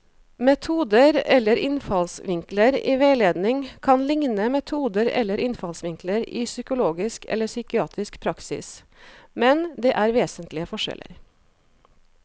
Metoder eller innfallsvinkler i veiledning kan likne metoder eller innfallsvinkler i psykologisk eller psykiatrisk praksis, men det er vesentlige forskjeller.